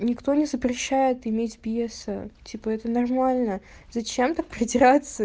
никто не запрещает иметь пьеса типа это нормально зачем так придираться